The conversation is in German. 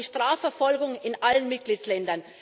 Wir brauchen eine Strafverfolgung in allen Mitgliedstaaten.